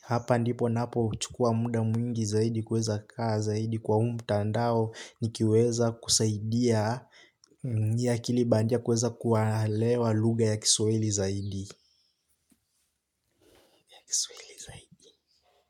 hapa ndipo naapo chukua muda mwingi zaidi kuweza kaa zaidi kwa mtandao ni kiweza kusaidia yakili bandia kuweza kuwalewa luga ya kiswaili zaidi. Next week.